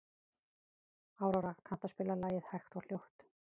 Aurora, kanntu að spila lagið „Hægt og hljótt“?